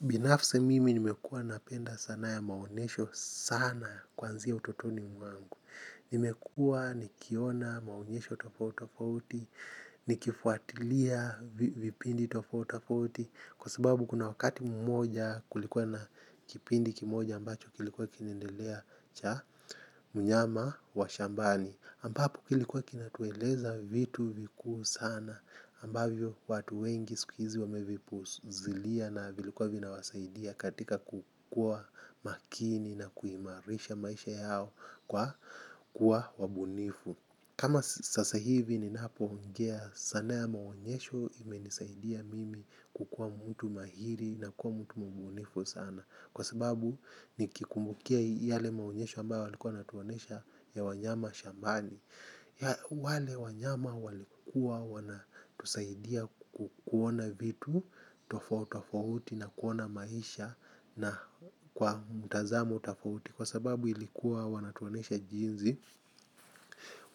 Binafsi mimi nimekua napenda sana ya maonesho sana kuanzia utotoni mwangu. Nimekua nikiona maonyesho tofauti tofauti, nikifuatilia vipindi tofauti tofauti. Kwa sababu kuna wakati mmoja kulikuwa na kipindi kimoja ambacho kilikuwa kinaendelea cha mnyama wa shambani. Ambapo kilikuwa kinatueleza vitu vikuu sana ambavyo watu wengi siku hizi wamevipuzilia na vilikuwa vinawasaidia katika kukua makini na kuimarisha maisha yao kwa kuwa bunifu kama sasa hivi ninapo ongea sanaa ya maonyesho imenisaidia mimi kukua mtu mahiri na kukua mtu mbunifu sana. Kwa sababu ni kikubmukia yale maonyesho ambayo walikuwa watuonyesha ya wanyama shambani wale wanyama walikuwa wanatusaidia kuona vitu tofauti tofauti na kuona maisha kwa mtazamo tofauti kwa sababu ilikuwa wanatuonyesha jinsi